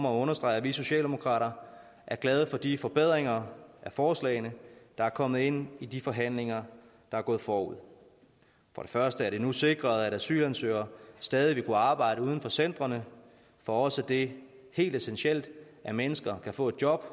at understrege at vi socialdemokrater er glade for de forbedringer af forslagene der er kommet ind i de forhandlinger der er gået forud for det første er det nu sikret at asylansøgere stadig vil kunne arbejde uden for centrene for os det helt essentielt at mennesker kan få et job